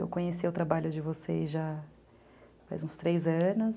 Eu conheci o trabalho de vocês já faz uns três anos.